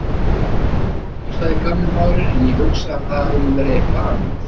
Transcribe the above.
Af lungnabólgu, sagði gamli maðurinn, en ég hugsa að það hafi nú verið eitthvað annað.